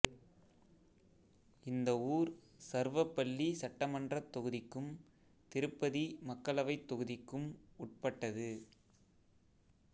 இந்த ஊர் சர்வபள்ளி சட்டமன்றத் தொகுதிக்கும் திருப்பதி மக்களவைத் தொகுதிக்கும் உட்பட்டது